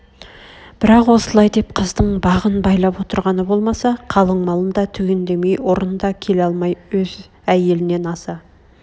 бірақ осылай деп қыздың бағын байлап отырғаны болмаса қалыңмалын да түгендемей ұрын да келе алмай өз әйелнен аса